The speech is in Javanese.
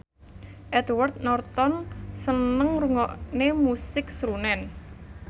Edward Norton seneng ngrungokne musik srunen